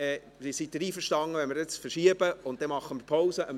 Sind Sie einverstanden, wenn wir dies verschieben und jetzt Pause machen?